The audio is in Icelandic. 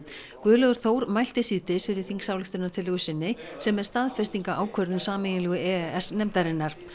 Guðlaugur Þór mælti síðdegis fyrir þingsályktunartillögu sinni sem er staðfesting á ákvörðun sameiginlegu e e s nefndarinnar